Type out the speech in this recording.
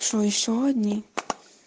что ещё одни